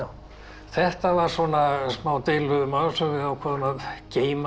þetta var smá deilumál sem við ákváðum að geyma